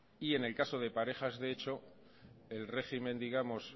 y en el caso de parejas de hecho el régimen digamos